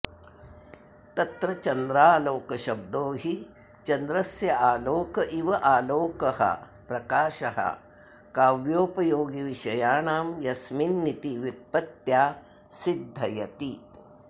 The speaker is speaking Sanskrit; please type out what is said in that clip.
तत्र चन्द्रालोक शब्दो हि चन्द्रस्यालोक इवालोकः प्रकाशः काव्योपयोगिविषयाणां यस्मिन्निति व्युत्पत्त्या सिद्धयति